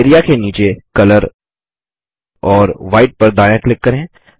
area के नीचे colour और व्हाइट पर दायाँ क्लिक करें